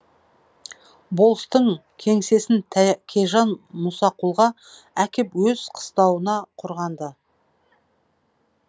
болыстың кеңсесін тәкежан мұсақұлға әкеп өз қыстауына құрған ды